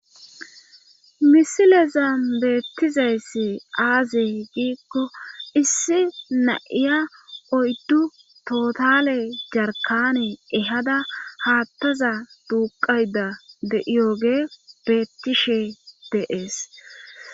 misileza beettizayssi aaze giikko issi na7iya oyddu tootale jarkane ehada haattaza duuqayda de7iyoge beettishe deees